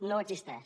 no existeix